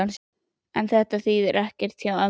En þetta þýðir ekkert hjá ömmu.